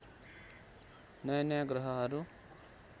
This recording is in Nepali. नयाँ नयाँ ग्रहहरू